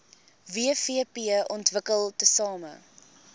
wvp ontwikkel tesame